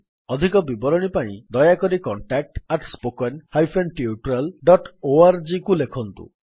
ଅଧିକ ବିବରଣୀ ପାଇଁ ଦୟାକରି contactspoken tutorialorgକୁ ଲେଖନ୍ତୁ